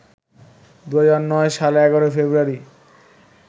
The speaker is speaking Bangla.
২০০৯ সালের ১১ ফেব্রুয়ারি